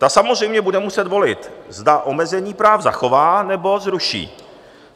Ta samozřejmě bude muset volit, zda omezení práv zachová, nebo zruší.